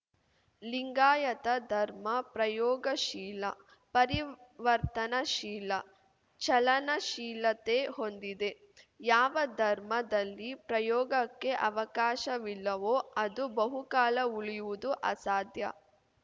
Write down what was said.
ಲಿಂಗಾಯತ ಧರ್ಮ ಪ್ರಯೋಗಶೀಲ ಪರಿವರ್ತನ ಶೀಲ ಚಲನಶೀಲತೆ ಹೊಂದಿದೆ ಯಾವ ಧರ್ಮದಲ್ಲಿ ಪ್ರಯೋಗಕ್ಕೆ ಅವಕಾಶವಿಲ್ಲವೋ ಅದು ಬಹುಕಾಲ ಉಳಿಯುವುದು ಅಸಾಧ್ಯ